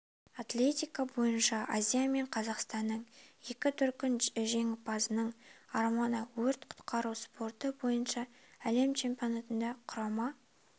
атлетика бойынша азия мен қазақстанның екі дүркін жеңімпазының арманы өрт-құтқару спорты бойынша әлем чемпионатында құрама